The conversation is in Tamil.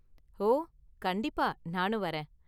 ஓ, கண்டிப்பா, நானும் வரேன்!